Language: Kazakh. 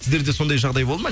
сіздерде сондай жағдай болды ма